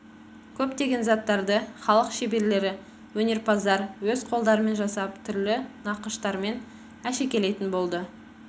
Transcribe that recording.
көптеген заттарды халық шеберлері өнерпаздар өз қолдарымен жасап түрлі нақыштармен әшекелейтін болды